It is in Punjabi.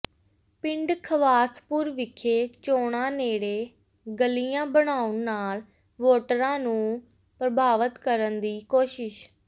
ਪਿੰਡ ਖਵਾਸਪੁਰ ਵਿਖੇ ਚੋਣਾਂ ਨੇੜੇ ਗਲੀਆਂ ਬਣਾਉਣ ਨਾਲ ਵੋਟਰਾਂ ਨੂੰ ਪ੍ਰਭਾਵਤ ਕਰਨ ਦੀ ਕੋਸ਼ਿਸ਼